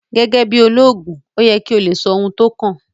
Gẹ́gẹ́ bí olóògùn ó yẹ kí o lè sọ ohun tó kàn